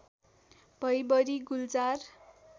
भई बढी गुल्जार